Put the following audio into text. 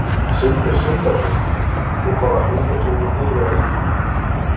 Sindri Sindrason: Og hvaða hlutverki viljið þið vera í?